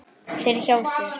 Fer hjá sér.